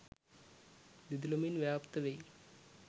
දිදුලමින් ව්‍යාප්ත වෙයි.